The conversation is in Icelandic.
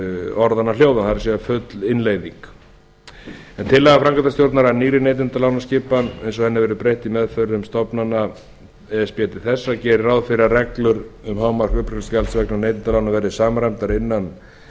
orðanna hljóðan það er full innleiðing en tillaga framkvæmdastjórnar að nýrri neytendalánaskipan eins og henni verður breytt í meðförum stofnana e s b til þess þá geri ég ráð fyrir að reglur um hámark uppgreiðslugjalds vegna neytendalána verði samræmdar innan